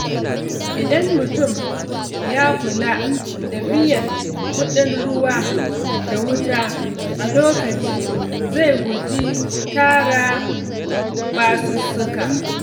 Idan mutum ya kula da biyan kuɗin ruwa da wuta a lokaci, zai guji tara basussuka.